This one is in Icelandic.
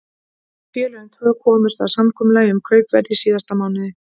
Félögin tvö komust að samkomulagi um kaupverð í síðasta mánuði.